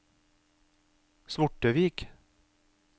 Svortevik